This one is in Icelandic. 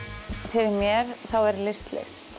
fyrir mér þá er list list